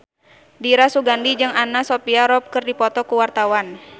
Dira Sugandi jeung Anna Sophia Robb keur dipoto ku wartawan